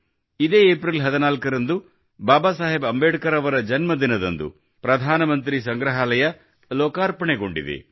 ಇದೇ ಏಪ್ರಿಲ್ 14ರಂದು ಬಾಬಾ ಸಾಹೇಬ್ ಅಂಬೇಡ್ಕರ್ ಅವರ ಜನ್ಮ ದಿನದಂದು ಪ್ರಧಾನಮಂತ್ರಿ ಸಂಗ್ರಹಾಲಯ ಲೋಕಾರ್ಪಣೆಗೊಂಡಿದೆ